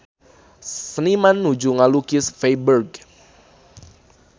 Seniman nuju ngalukis Feiburg